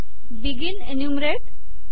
begin enumerate